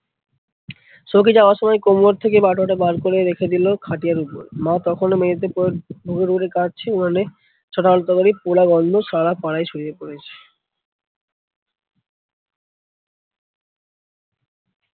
সৌখী যাওয়ার সময় কোমর থেকে বাটুয়াটা বার করে রেখে দিলো খাটিয়ার উপর, মা তখনও মেঝেতে পরে হুরহুরে কাঁদছে, উনোনে আলুর তরকারির পোড়া গন্ধ সারা পাড়ায় ছড়িয়ে পড়েছে।